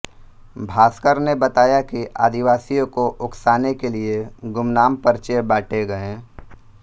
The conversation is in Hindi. भास्कर ने बताया कि आदिवासियों को उकसाने के लिए गुमनाम पर्चे बांटे गए